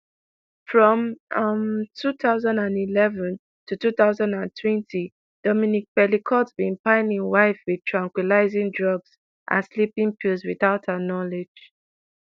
from um two thousand and eleven to two thousand and twenty dominique pelicot bin pile im wife wit tranquilising drugs and sleeping pills without her knowledge